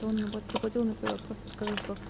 что он заплатил на просто скажи что